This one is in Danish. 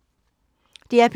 DR P3